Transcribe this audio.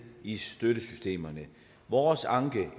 i støttesystemerne vores anke